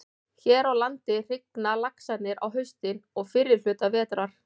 Hér á landi hrygna laxarnir á haustin og fyrri hluta vetrar.